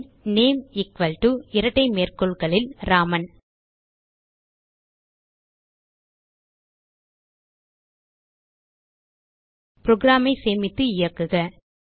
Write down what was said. bin name equal to இரட்டை மேற்கோள்களில் ராமன் programஐ சேமித்து இயக்குக